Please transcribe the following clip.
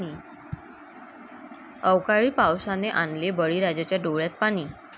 अवकाळी पावसाने आणले बळीराजाच्या डोळ्यात पाणी!